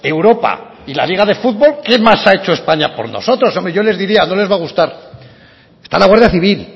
europa y la liga de futbol qué más ha hecho españa por nosotros bueno yo les diría no les va a gustar está la guardia civil